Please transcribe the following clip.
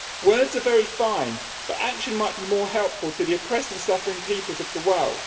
Words are very fine, but action might be more helpful to the oppressed and suffering peoples of the world.